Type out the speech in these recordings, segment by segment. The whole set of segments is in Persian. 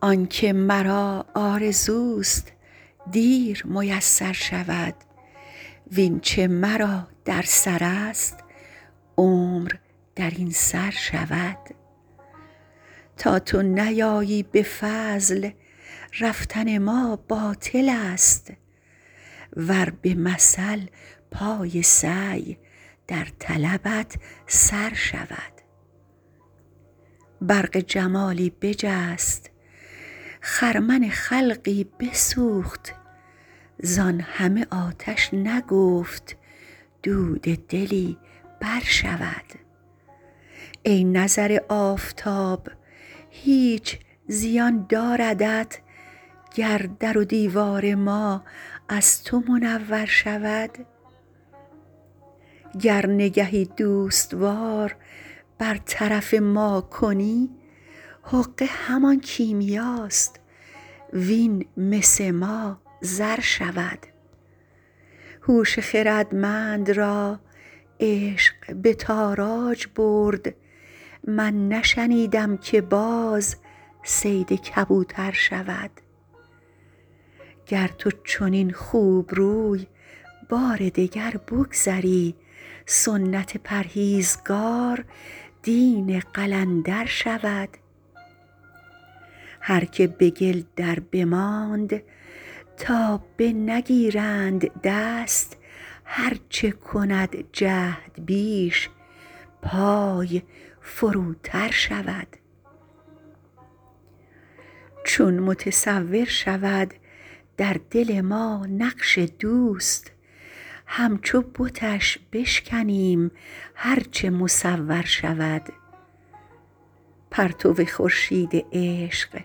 آن که مرا آرزوست دیر میسر شود وین چه مرا در سرست عمر در این سر شود تا تو نیایی به فضل رفتن ما باطلست ور به مثل پای سعی در طلبت سر شود برق جمالی بجست خرمن خلقی بسوخت زان همه آتش نگفت دود دلی برشود ای نظر آفتاب هیچ زیان داردت گر در و دیوار ما از تو منور شود گر نگهی دوست وار بر طرف ما کنی حقه همان کیمیاست وین مس ما زر شود هوش خردمند را عشق به تاراج برد من نشنیدم که باز صید کبوتر شود گر تو چنین خوبروی بار دگر بگذری سنت پرهیزگار دین قلندر شود هر که به گل دربماند تا بنگیرند دست هر چه کند جهد بیش پای فروتر شود چون متصور شود در دل ما نقش دوست همچو بتش بشکنیم هر چه مصور شود پرتو خورشید عشق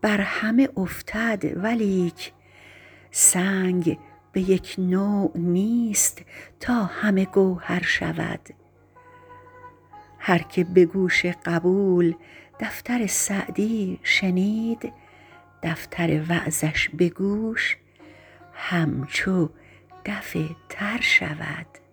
بر همه افتد ولیک سنگ به یک نوع نیست تا همه گوهر شود هر که به گوش قبول دفتر سعدی شنید دفتر وعظش به گوش همچو دف تر شود